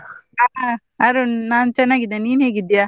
ಆ ಅರುಣ್ ನಾನ್ ಚೆನ್ನಾಗಿದ್ದೇನೆ, ನೀನ್ ಹೇಗಿದ್ಯಾ?